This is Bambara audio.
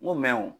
N ko mɛ o